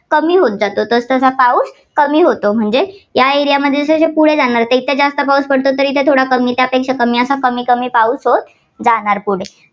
कमी होत जातो. तसतसा पाऊस कमी होत जातो. म्हणजे या area मध्ये जर पुढे जाणार तर इथे जास्त पाऊस पडतो तर इथे थोडा कमी त्यापेक्षा कमी असा की पाऊस होत जाणार पुढे.